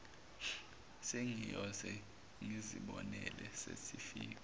sengiyoze ngizibonele sesifika